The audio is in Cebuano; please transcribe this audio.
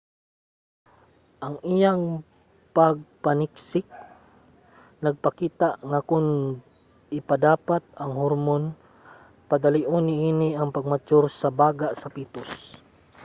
ang iyang pagpaniksik nagpakita nga kon ipadapat ang hormon padalion niini ang pag-mature sa baga sa petus